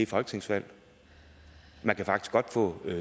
folketingsvalg man kan faktisk godt få